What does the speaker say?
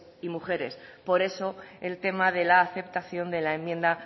y mujeres por eso el tema de la aceptación de la enmienda